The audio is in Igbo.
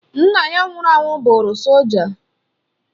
Nna ya nwụrụ anwụ bụrụ solja